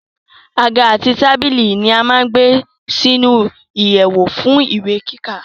Àga àti tábìlì ni a má gbé sínu ìyèwù fún ìwé kíkà